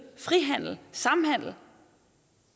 frihandel samhandel